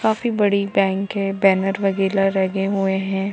काफी बड़ी बैंक है बैनर वगेरह लगे हुए है।